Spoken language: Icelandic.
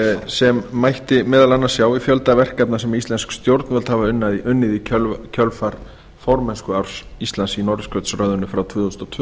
sem mætti meðal annars sjá í fjölda verkefna sem íslensk stjórnvöld hafa unnið í kjölfar formennskuárs íslands í norðurskautsráðinu frá tvö þúsund og tvö til